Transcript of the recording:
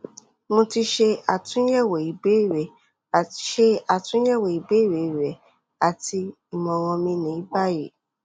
mo ti ṣe atunyẹwo ibeere ṣe atunyẹwo ibeere rẹ ati imọran mi ni bayi